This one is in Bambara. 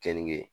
Keninge